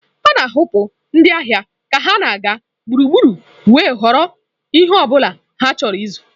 A na-ahapụ ndị ahịa ka ha na-aga gburugburu wee họrọ ihe ọ bụla ha chọrọ ịzụ.